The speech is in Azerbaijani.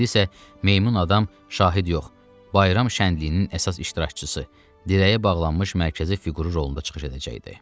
İndi isə meymun adam şahid yox, bayram şənliyinin əsas iştirakçısı, dirəyə bağlanmış mərkəzi fiquru rolunda çıxış edəcəkdi.